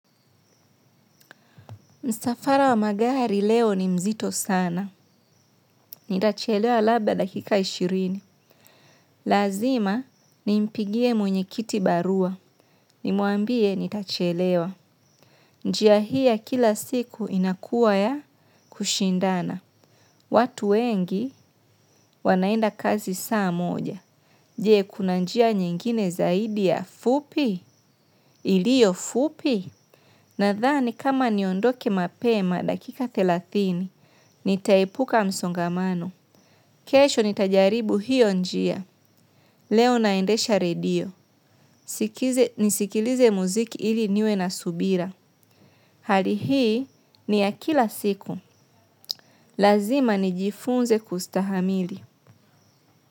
Msafara wa magari leo ni mzito sana. Nitachelewa labda dakika ishirini. Lazima ni mpigie mwenye kiti barua. Nimwambie nitachelewa. Njiahii kila siku inakuwa ya kushindana. Watu wengi wanaenda kazi saa moja. Je kuna njia nyingine zaidi ya fupi? Ilio fupi? Na dhani kama niondoke mapema dakika thelathini, nitaipuka msongamano. Kesho nitajaribu hiyo njia. Leo naendesha radio. Sikize nisikilize muziki hili niwe na subira. Hali ni ya kila siku. Lazima nijifunze kustahamili.